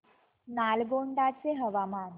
नालगोंडा चे हवामान